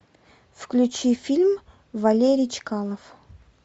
включи фильм валерий чкалов